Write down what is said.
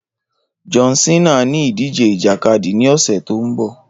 John cena ní ìdíje ìjàkadì ní ọ̀sẹ̀ tó mbọ̀